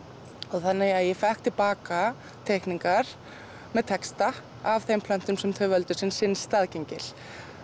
þannig að ég fékk til baka teikningar með texta af þeim plöntum sem þau völdu sem sinn staðgengil